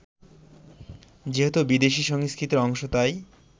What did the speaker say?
যেহেতু বিদেশি সংস্কৃতির অংশ তাই